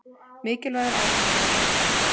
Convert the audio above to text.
Mikilvægur áfangi að baki